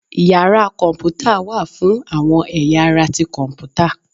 Yara kọnputa wa fún awọn eyá ará tí Kọǹpútà.